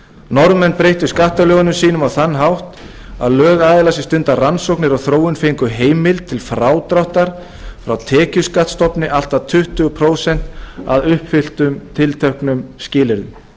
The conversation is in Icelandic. norðmenn breyttu skattalögunum sínum á þann hátt að lögaðilar sem stunda rannsóknir og þróun fengu heimild til frádráttar frá tekjuskattsstofni allt að tuttugu prósent að uppfylltum tilteknum skilyrðum í lögunum var